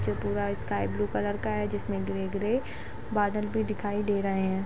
जो पूरा sky blue colour का है जिसमे ग्रे ग्रे बादल भी दिखाई दे रहे है।